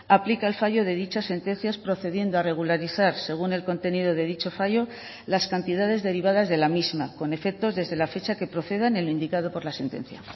aplica el fallo de dichas sentencias procediendo a regularizar según el contenido de dicho fallo las cantidades derivadas de la misma con efectos desde la fecha que proceda en el indicado por la sentencia